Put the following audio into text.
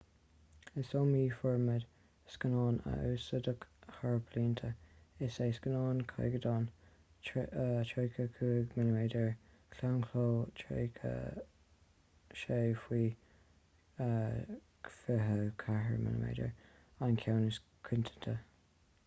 is iomaí formáid scannáin a úsáideadh thar na blianta. is é scannán caighdeánach 35 mm claonchló 36 faoi 24 mm an ceann is coitianta